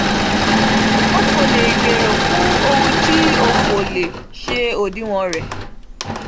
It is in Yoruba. o ko le gbero fun ohun ti o ko le se odiwọn re